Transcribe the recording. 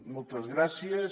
moltes gràcies